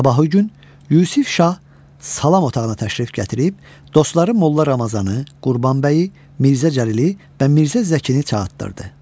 Sabahı gün Yusif şah salam otağına təşrif gətirib, dostları Molla Ramazanı, Qurbanbəyi, Mirzə Cəlili və Mirzə Zəkini çağırtdırdı.